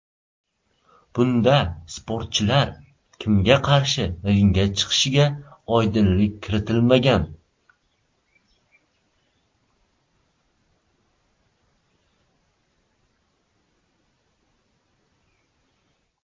Bunda sportchilar kimga qarshi ringga chiqishiga oydinlik kiritilmagan.